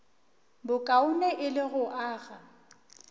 bokaone e le go aga